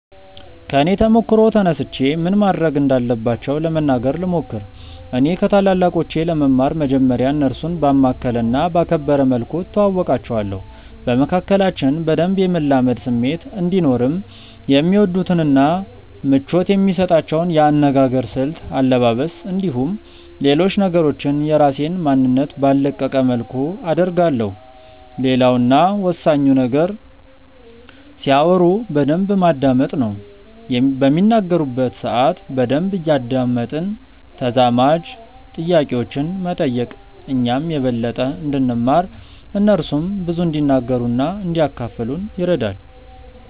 ከኔ ተሞክሮ ተነስቼ ምን ማድረግ እንዳለባቸው ለመናገር ልሞክር። እኔ ከታላላቆቼ ለመማር መጀመርያ እነርሱን ባማከለ እና ባከበረ መልኩ እተዋወቃቸዋለሁ። በመካከላችን በደንብ የመላመድ ስሜት እንዲኖርም የሚወዱትን እና ምቾት የሚሰጣቸውን የአነጋገር ስልት፣ አለባበስ፣ እንዲሁም ሌሎች ነገሮችን የራሴን ማንነት ባልለቀቀ መልኩ አደርጋለሁ። ሌላው እና ወሳኙ ነገር ሲያወሩ በደንብ ማዳመጥ ነው። በሚናገሩበት ሰአት በደንብ እያደመጥን ተዛማጅ ጥያቄዎችን መጠየቅ እኛም የበለጠ እንድንማር እነርሱም ብዙ እንዲናገሩ እና እንዲያካፍሉን ይረዳል።